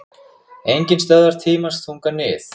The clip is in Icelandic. Enginn stöðvar tímans þunga nið